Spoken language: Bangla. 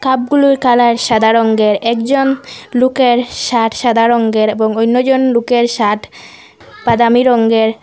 কাপগুলুর কালার সাদা রঙ্গের একজন লুকের শার্ট সাদা রঙ্গের এবং অন্যজন লুকের শার্ট বাদামি রঙ্গের।